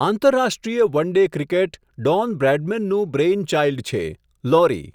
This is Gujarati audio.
આંતરરાષ્ટ્રીય વન ડે ક્રિકેટ, ડોન બ્રેડમેનનું'બ્રેઇનચાઇલ્ડ'છેઃ લોરી.